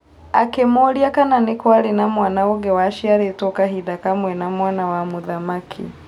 Akĩmũria kana nĩkwarĩ na mwana ũngĩ waciarĩtwo kahinda kamwe na mwana wa mũthamaki.